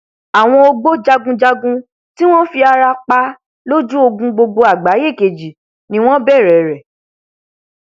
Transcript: àwọn ògbójagunjagun tí wọn fi ara pa lójú ogun gbogbo àgbáyé kejì ni wọn bẹrẹ rẹ